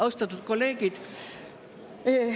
Austatud kolleegid!